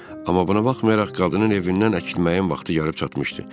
Amma buna baxmayaraq qadının evindən əkilməyin vaxtı yarıb çatmışdı.